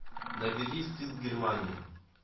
набери стыд германия